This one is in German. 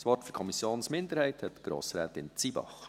Das Wort für die Kommissionsminderheit hat Grossrätin Zybach.